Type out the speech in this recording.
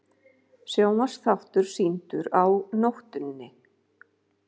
Sjónvarpsþáttur sýndur á nóttinni